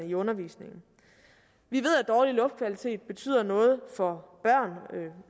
i undervisningen vi ved at dårlig luftkvalitet betyder noget for